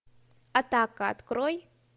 атака открой